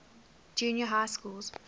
junior high schools